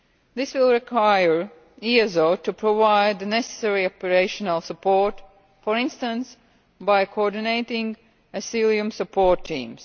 This will require EASO to provide the necessary operational support, for instance by coordinating Asylum Support Teams.